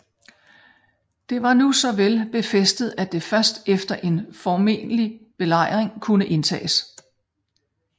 Det var nu så vel befæstet at det først efter en formelig belejring kunne indtages